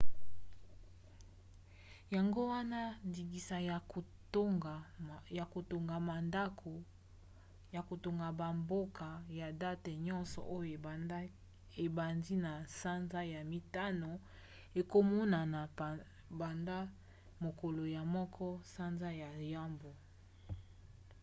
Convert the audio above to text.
yango wana ndingisa ya kotonga na bamboka ya date nyonso oyo ebandi na sanza ya mitano ekomonana banda mokolo ya 1 sanza ya yambo